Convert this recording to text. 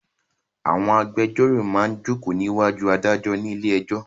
Àwọn agbéjọ́rò máa jókòó ní ìwájú adájọ́ ní ilé ẹjọ́.